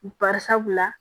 Barisabula